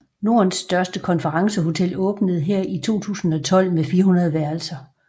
Nordens største konferencehotel åbnede her i 2012 med 400 værelser